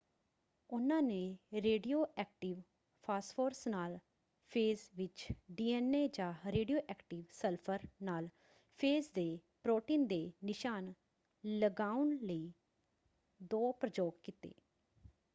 ਉਨ੍ਹਾਂ ਨੇ radioactive phosphorus ਨਾਲ ਫੇਜ਼ ਵਿੱਚ ਡੀ.ਐੱਨ.ਏ. ਜਾਂ ਰੇਡੀਓ ਐਕਟਿਵ ਸਲਫਰ ਨਾਲ ਫੇਜ਼ ਦੇ ਪ੍ਰੋਟੀਨ ਦੇ ਨਿਸ਼ਾਨ ਲਗਾਉਣ ਲਈ ਦੋ ਪ੍ਰਯੋਗ ਕੀਤੇ।